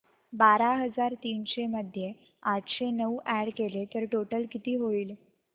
बारा हजार तीनशे मध्ये आठशे नऊ अॅड केले तर टोटल किती होईल